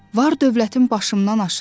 Var-dövlətim başımdan aşır.